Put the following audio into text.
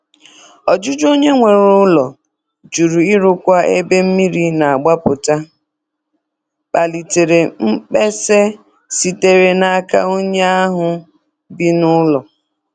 Ọjụjụ onye nwe ụlọ jụrụ ịrụkwa ebe mmiri na-agbapụta kpalitere mkpesa sitere n'aka onye ahụ bi n'ụlọ.